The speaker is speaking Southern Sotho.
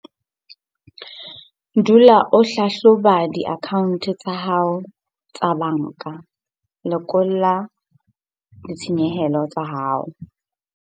Dula o hlahloba diakhaonte tsa hao tsa banka - lekola ditshenyehelo tsa hao.